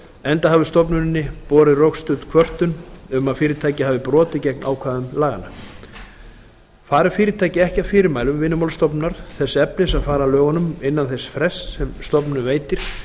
enda hafi stofnuninni borist rökstudd kvörtun um að fyrirtæki hafi brotið gegn ákvæðum laganna fari fyrirtæki ekki að fyrirmælum vinnumálastofnunar þess efnis að fara að lögunum innan þess frests sem stofnunin veitir